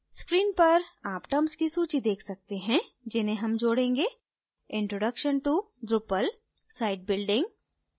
screen पर आप terms की सूची देख सकते हैं जिन्हें हम जोडेंगे introduction to drupal site building